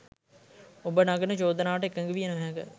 ඔබ නගන චෝදනාවට එකඟ විය නොහැක.